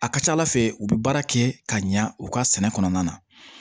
A ka ca ala fɛ u bɛ baara kɛ ka ɲa u ka sɛnɛ kɔnɔna na